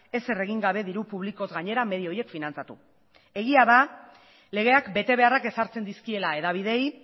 ezer egin gabe diru publikoz gainera medio horiek finantzatu egia da legeak betebeharrak ezartzen dizkiela hedabideei